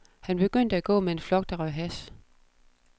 Han begyndte at gå med en flok, der røg hash.